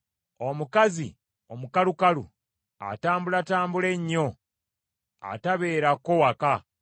Omukazi omukalukalu, atambulatambula ennyo atabeerako waka,